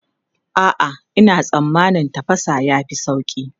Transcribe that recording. A'a, ina tsammanin tafasa ya fi sauri.